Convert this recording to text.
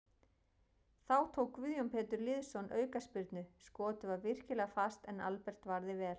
Þá tók Guðjón Pétur Lýðsson aukaspyrnu, skotið var virkilega fast en Albert varði vel.